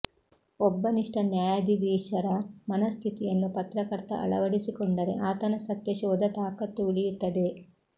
ಒಬ್ಬ ನಿಷ್ಠ ನ್ಯಾಯಾಧಿಧೀಶರ ಮನಃ ಸ್ಥಿತಿಯನ್ನು ಪತ್ರಕರ್ತ ಅಳವಡಿಸಿಕೊಂಡರೆ ಆತನ ಸತ್ಯಶೋಧ ತಾಕತ್ತು ಉಳಿಯುತ್ತದೆ